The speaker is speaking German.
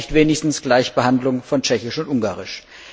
Warum nicht wenigstens Gleichbehandlung von Tschechisch und Ungarisch?